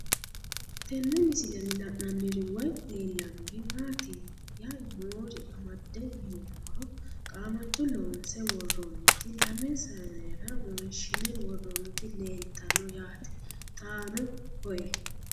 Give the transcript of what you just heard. Tenne misilenni la'nanniri woy leellannori maattiya noori amadde yinummoro qaamatto loonse woroonnitti lame saannera wonshinne woroonnitti leelittanno yaatte xaanno koye